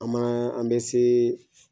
An man an bɛ se